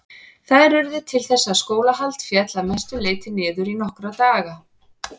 Þær urðu til þess að skólahald féll að mestu leyti niður í nokkra daga.